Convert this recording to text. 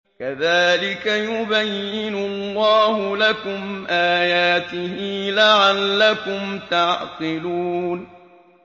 كَذَٰلِكَ يُبَيِّنُ اللَّهُ لَكُمْ آيَاتِهِ لَعَلَّكُمْ تَعْقِلُونَ